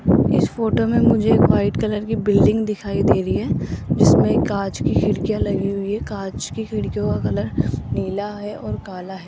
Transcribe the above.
इस फोटो में मुझे एक व्हाइट कलर की बिल्डिंग दिखाई दे रही है जिसमें कांच की खिड़कियां लगी हुई है कांच की खिड़कियों का कलर नीला है और काला है।